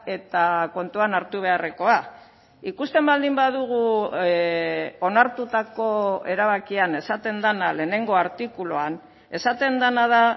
eta kontuan hartu beharrekoa ikusten baldin badugu onartutako erabakian esaten dena lehenengo artikuluan esaten dena da